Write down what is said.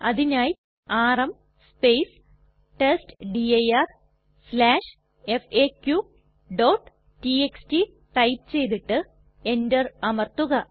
അതിനായി ആർഎം testdirfaqടിഎക്സ്ടി ടൈപ്പ് ചെയ്തിട്ട് എന്റർ അമർത്തുക